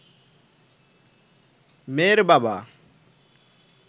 মেয়ের বাবা